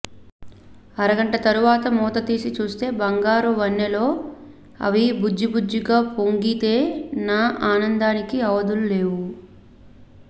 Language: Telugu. అరగంట తరువాత మూత తీసి చూస్తే బంగారు వన్నెలో అవి బుజ్జి బుజ్జిగా పొంగితే నా ఆనందానికి అవధులు లేవు